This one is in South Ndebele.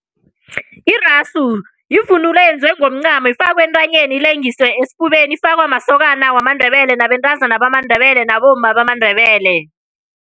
Irasu yivunulo eyenziwe ngomncamo efakwa entanyeni ilengiswe esifubeni. Ifakwa masokana wamaNdebele, nabentazana bamaNdebele nabomma bamaNdebele.